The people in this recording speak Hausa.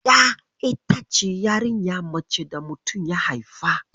Ƴa ita ce yarinya mace da mutum ya haifa.